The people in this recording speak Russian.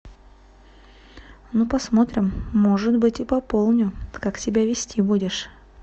ну посмотрим может быть и пополню как себя вести будешь